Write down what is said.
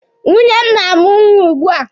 Nwunye m na-amụ nwa ugbua